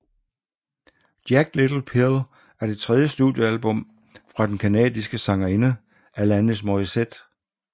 Jagged Little Pill er det tredje studiealbum fra den canadiske sangerinde Alanis Morissette